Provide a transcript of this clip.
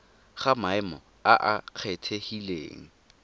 ga maemo a a kgethegileng